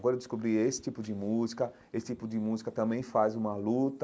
Agora eu descobri esse tipo de música, esse tipo de música também faz uma luta,